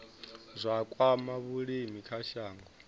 zwa kwama vhulimi kha shango